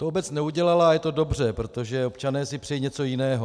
To obec neudělala a je to dobře, protože občané si přejí něco jiného.